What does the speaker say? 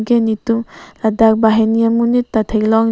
ke netum ladak banghini amonit ta theklongji.